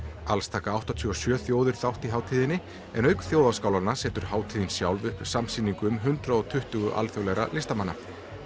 alls taka áttatíu og sjö þjóðir þátt í hátíðinni í en auk þjóðaskálanna setur hátíðin sjálf upp samsýningu um hundrað og tuttugu alþjóðlegra listamanna